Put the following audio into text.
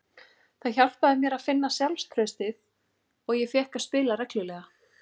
Það hjálpaði mér að finna sjálfstraustið og ég fékk að spila reglulega.